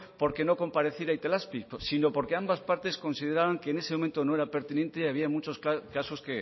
porque no compareciera itelazpi sino porque ambas partes consideraban que en ese momento no era pertinente y había muchos casos